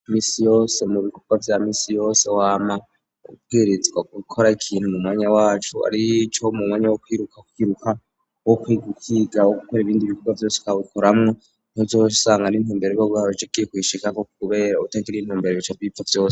Iminsi yose mu bikobwa vya misi yose wama ubwirizwa gukora ikintu mu mwanya wacu arico mu mwanya wo kiruka kwiruka wo kwigukigawo gukora ibindi bikorwa vyose wabikoramwo ntizosanga n intumbere rwo guharcekiye kwisheka ko kubera utagira intumbere bica bipfa vyose.